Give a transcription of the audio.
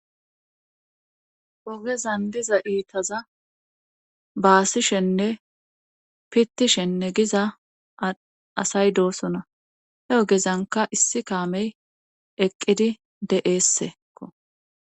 Ogezan diza iitaza baasishenne pittishenne giza asay doosona he ogezanka issi kaamey eqqidi de7eessekko.